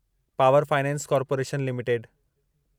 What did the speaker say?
power finance corporation limited